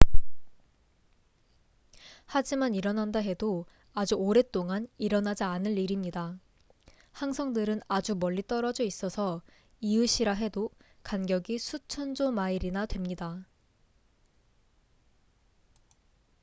하지만 일어난다 해도 아주 오랫동안 일어나지 않을 일입니다 항성들은 아주 멀리 떨어져 있어서 이웃'이라 해도 간격이 수천 조 마일이나 됩니다